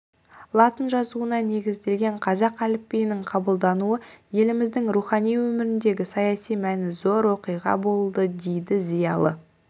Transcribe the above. латын жазуына негізделген қазақ әліпбиінің қабылдануы еліміздің рухани өміріндегі саяси мәні зор оқиға болды дейді зиялы